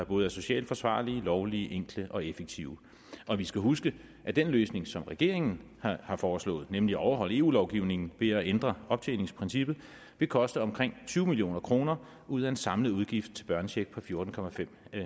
både socialt forsvarlige lovlige enkle og effektive og vi skal huske at den løsning som regeringen har foreslået nemlig at overholde eu lovgivningen ved at ændre optjeningsprincippet vil koste omkring tyve million kroner ud af en samlet udgift til børnecheck på fjorten